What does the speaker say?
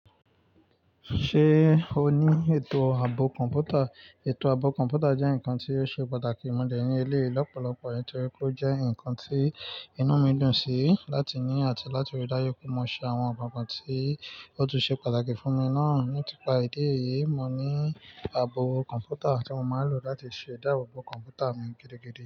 Ṣé o ní ètò ààbò kọ̀ǹpútà? Ètò ààbò kọ̀ǹpútà jẹ́ nǹkan tí ó ṣe pàtàkì, mo de ní eléyi lọ́pọ̀lọpọ̀ nítorí pé ó jẹ́ nǹkan tí inú mi dùn sí láti ní àti láti rí dájú pé mo ṣe àwọn nǹkan kan tí ó tún ṣe pàtàkì fún mi náà. Ní tipa ìdí èyí, mo ní ààbò kọ̀ǹpútà tí mo máa ń lò láti ṣe ìdáàbòbò kọ̀ǹpútà mi gidigidi.